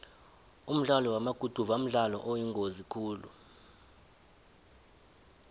umdlalo wamaguduva mdlalo oyingozi khulu